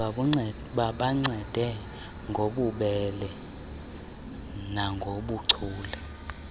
babancede ngobubele nangobuchule